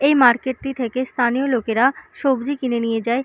এই মার্কেটটি থেকে স্থানীয় লোকেরা সবজি কিনে নিয়ে যায়।